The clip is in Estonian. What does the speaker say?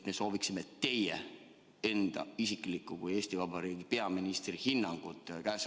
Me soovime teie kui Eesti Vabariigi peaministri enda isiklikku hinnangut.